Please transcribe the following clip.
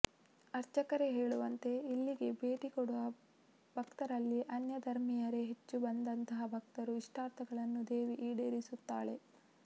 ಅರ್ಚಕರೇ ಹೇಳುವಂತೆ ಇಲ್ಲಿಗೆ ಭೇಟಿ ಕೊಡುವ ಭಕ್ತರಲ್ಲಿ ಅನ್ಯಧರ್ಮಿಯರೇ ಹೆಚ್ಚು ಬಂದಂತಹ ಭಕ್ತರ ಇಷ್ಟಾರ್ಥಗಳನ್ನು ದೇವಿ ಈಡೇರಿಸುತ್ತಾಳೆ